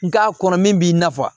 Nga a kɔnɔ min b'i nafa